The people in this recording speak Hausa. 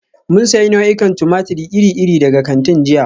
Mun sayi nau'ikan tumatir iri-iri daga kantin jiya.